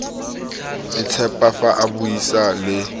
itshepa fa a buisa le